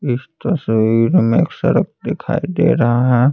इस तस्वीर में सड़क दिखाई दे रहा है।